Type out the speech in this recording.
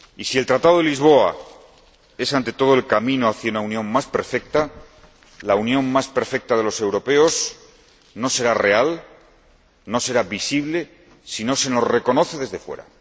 Y si el Tratado de Lisboa es ante todo el camino hacia una Unión más perfecta, la unión más perfecta de los europeos no será real, no será visible, si no se nos reconoce desde fuera.